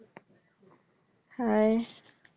Hi